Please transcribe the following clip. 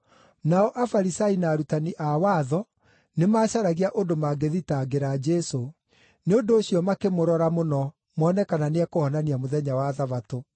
Nao Afarisai na arutani a watho nĩmacaragia ũndũ mangĩthitangĩra Jesũ, nĩ ũndũ ũcio makĩmũrora mũno, mone kana nĩekũhonania mũthenya wa Thabatũ.